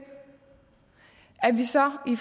at vi så i